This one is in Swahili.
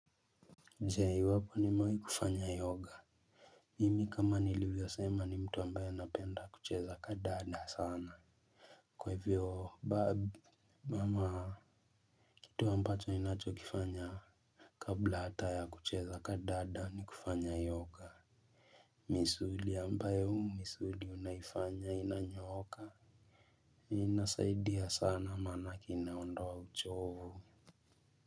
Je iwapo nimewai kufanya yoga. Mimi kama nilivyosema ni mtu ambayo napenda kucheza kandanda sana. Kwa hivyo babi ama kitu ambacho inacho kifanya kabla hata ya kucheza kandanda ni kufanya yoga. Misuli ambayo misuli unaifanya inanyooka inasaidia sana manake inaondoa uchovu.